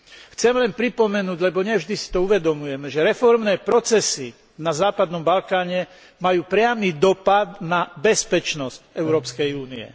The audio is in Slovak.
Chcem len pripomenúť, lebo nie vždy si to uvedomujeme, že reformné procesy na západnom Balkáne majú priamy dopad na bezpečnosť Európskej únie.